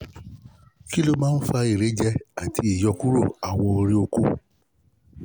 kí ló máa ń fa ìrẹ́jẹ àti ìyókùro awo ori oko?